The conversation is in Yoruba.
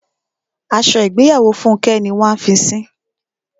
Aṣọ ìgbéyàwó Fúnkẹ́ ni wọ́n a fi sín.